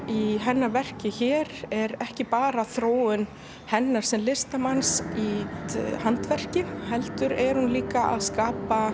í hennar verki hér er ekki bara þróun hennar sem listamanns í handverki heldur er hún líka að skapa